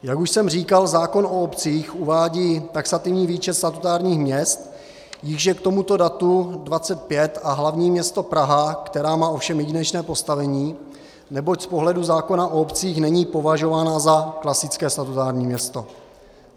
Jak už jsem říkal, zákon o obcích uvádí taxativní výčet statutárních měst, jichž je k tomuto datu 25 a hlavní město Praha, která má ovšem jedinečné postavení, neboť z pohledu zákona o obcích není považována za klasické statutární město.